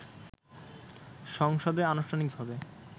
সংসদে আনুষ্ঠানিকভাবে